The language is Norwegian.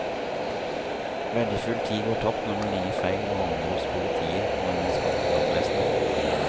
Verdifull tid går tapt når man ringer feil og havner hos politiet når man skal til brannvesenet.